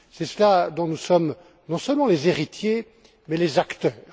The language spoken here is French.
C'est de cela dont nous sommes non seulement les héritiers mais les acteurs.